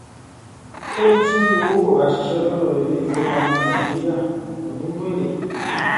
ó ní tí owó kò bá ṣiṣẹ lọdọ ilé ìfowópamọ nàìjíríà kò ní mú èrè